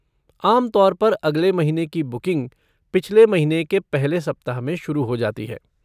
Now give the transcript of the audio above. आम तौर पर अगले महीने की बुकिंग पिछले महीने के पहले सप्ताह में शुरू हो जाती है।